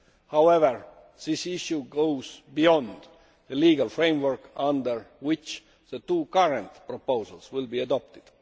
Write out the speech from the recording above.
However, this issue goes beyond the legal framework under which the two current proposals will be adopted.